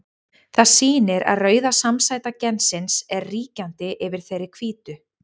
Það sýnir að rauða samsæta gensins er ríkjandi yfir þeirri hvítu.